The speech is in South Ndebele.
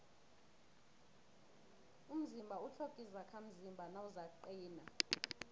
umzimba utlhoga izakhamzimba nawuzakuqina